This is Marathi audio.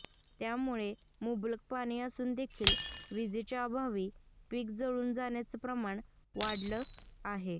त्यामुळे मुबलक पाणी असून देखील वीजेच्या अभावी पिकं जळून जाण्याच प्रमाण वाढलं आहे